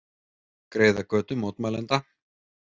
Greiða götu mótmælenda